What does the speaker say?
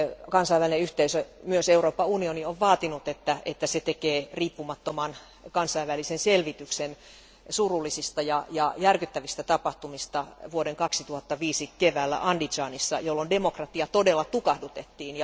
Kansainvälinen yhteisö, myös Euroopan unioni, on vaatinut, että se tekee riippumattoman kansainvälisen selvityksen surullisista ja järkyttävistä tapahtumista vuoden 2005 keväällä Andizanissa, jolloin demokratia todella tukahdutettiin.